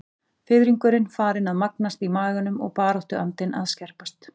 Fiðringurinn farinn að magnast í maganum og baráttuandinn að að skerpast.